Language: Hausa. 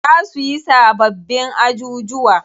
Za suyi sababbin ajujuwa.